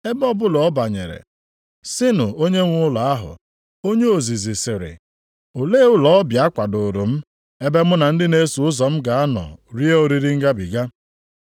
Ebe ọbụla ọ banyere, sịnụ onyenwe ụlọ ahụ, Onye ozizi sịrị, Olee ụlọ ọbịa a kwadoro m, ebe mụ na ndị na-eso ụzọ m ga-anọ rie oriri ngabiga?